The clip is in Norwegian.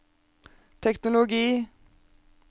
teknologi